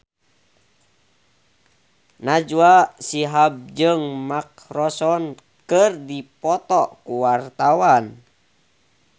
Najwa Shihab jeung Mark Ronson keur dipoto ku wartawan